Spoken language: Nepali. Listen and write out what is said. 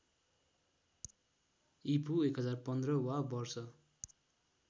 ईपू १०१५ वा वर्ष